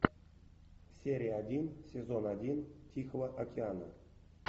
серия один сезон один тихого океана